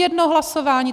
Jedno hlasování.